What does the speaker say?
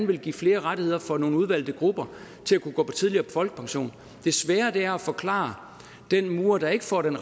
vil give flere rettigheder for nogle udvalgte grupper til at kunne gå tidligere på folkepension det svære er at forklare den murer der ikke får den